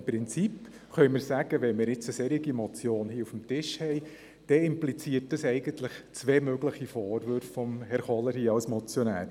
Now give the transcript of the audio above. Wenn wir eine solche Motion auf dem Tisch haben, kann man im Prinzip sagen, diese impliziere zwei mögliche Vorwürfe von Grossrat Kohler als Motionär.